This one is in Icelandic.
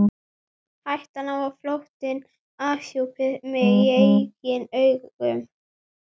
Hættan á að flóttinn afhjúpaði mig í eigin augum.